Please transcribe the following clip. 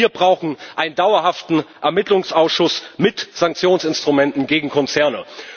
Auch wir brauchen einen dauerhaften Ermittlungsausschuss mit Sanktionsinstrumenten gegen Konzerne.